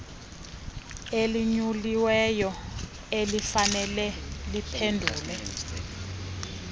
elinyuliweyo elifanele liphendule